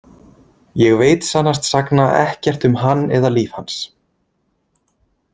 Ég veit sannast sagna ekkert um hann eða líf hans.